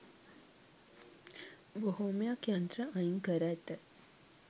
බොහොමයක් යන්ත්‍ර අයින්කර ඇත